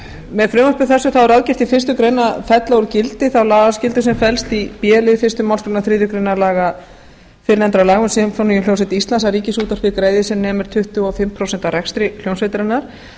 með frumvarpi þessu er ráðgert í fyrstu grein að fella úr gildi þá lagaskyldu sem felst í b lið fyrstu málsgrein þriðju grein fyrrnefndra laga um sinfóníuhljómsveit íslands að ríkisútvarpið greiði sem nemur tuttugu og fimm prósent af rekstri hljómsveitarinnar